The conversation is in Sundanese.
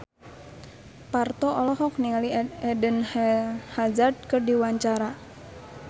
Parto olohok ningali Eden Hazard keur diwawancara